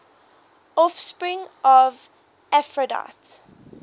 offspring of aphrodite